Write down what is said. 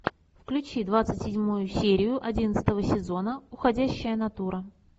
включи двадцать седьмую серию одиннадцатого сезона уходящая натура